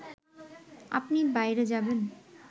আপনি বাইরে যাবেন